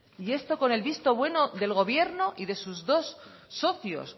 y esto con el visto bueno del gobierno y de sus dos socios